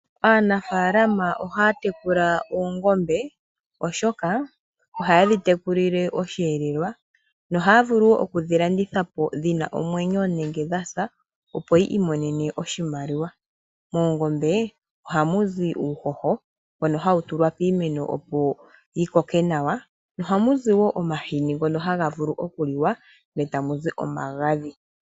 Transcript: Aanafalama ohaya tekula oongombe oshoka ohaye dhi tekulile oshihelelwa no ohaya vulu okudhilandithapo dhina omwenyo nenge dhasa opo yi imonene oshimaliwa. Moongombe ohamu zi uushosho mbono hawu tulwa piimeno opo yikoke nawa no ohamu zi woo omahini ngoka haga vulu okuliwa nota muzi omagadhi.